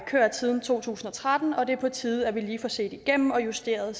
kørt siden to tusind og tretten og det er på tide at vi lige får set dem igennem og justeret